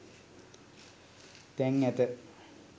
තැන් ඇත.